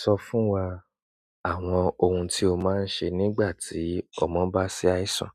Sọ fún wa àwọn ohun tí o máa ń ṣe nígbà tí ọmọ bá ṣàìsàn.